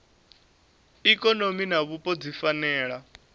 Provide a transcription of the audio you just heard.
ikonomi na vhupo dzi fanela